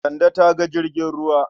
Kande ta ga jirgin ruwa.